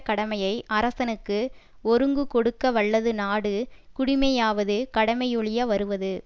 கடமையை அரசனுக்கு ஒருங்கு கொடுக்க வல்லது நாடு குடிமையாவது கடமையொழிய வருவது